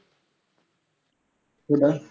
कुठं?